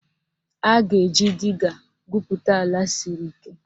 A ga-eji diga gwupụta ala siri ike